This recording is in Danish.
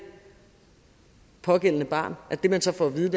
pågældende barn det man så får at vide